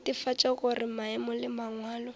netefatša gore maemo le mangwalo